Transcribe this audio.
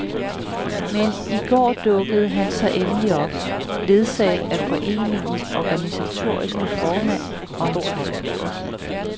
Men i går dukkede han så endelig op, ledsaget af foreningens organisatoriske formand og en tolk.